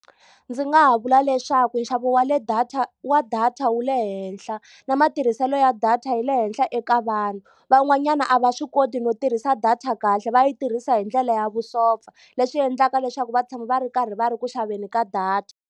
Ndzi nga ha vula leswaku nxavo wa le data wa data wu le henhla, na matirhiselo ya data yi le henhla eka vanhu. Van'wanyana a va swi koti no tirhisa data kahle va yi tirhisa hi ndlela ya vusopfa. Leswi endlaka leswaku va tshama va ri karhi va ri ku xaveni ka data.